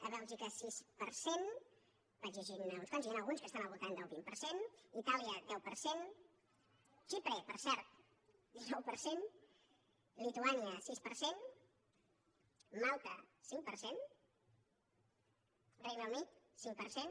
a bèlgica sis per cent vaig llegint ne uns quants n’hi han alguns que estan al voltant del vint per cent itàlia deu per cent xipre per cert dinou per cent lituània sis per cent malta cinc per cent el regne unit cinc per cent